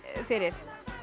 fyrir